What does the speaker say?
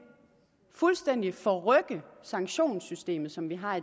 fuldstændig forrykke sanktionssystemet som vi har